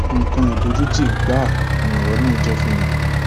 nǹkan ìdojútì gbáà ni ọrọ náà jẹ fún mi